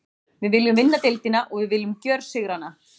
Við viljum vinna deildina og við viljum gjörsigra hana.